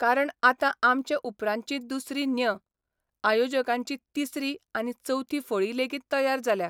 कारण आतां आमचे उपरांतची दुसरी न्य, आयोजकांची तिसरी आनी चवथी फळी लेगीत तयार जाल्या.